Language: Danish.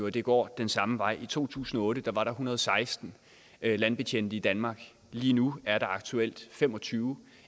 at det går den samme vej i to tusind og otte var der en hundrede og seksten landbetjente i danmark lige nu er der aktuelt fem og tyve